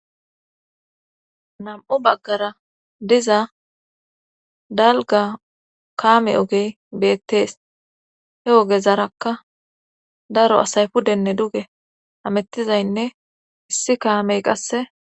nam7u baggara diza dalga kaame ogey beettees he ogezarakka daro asay pudenne duge amettizaynne issi kaamey qasse